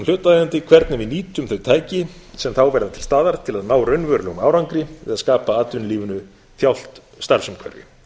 hlutaðeigandi hvernig við nýtum þau tæki sem þá verða til staðar til að ná raunverulegum árangri við að skapa atvinnulífinu þjált starfsumhverfi